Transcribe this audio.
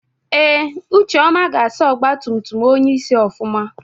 Ee ucheọma ga-asa ọgbatumtum onyeisi ofụma.